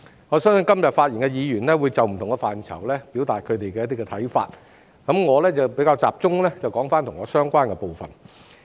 我相信今天發言的議員會就不同的範疇表達他們的想法，我會集中談論與我相關的部分。